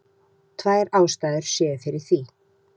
Tvær ástæður séu fyrir því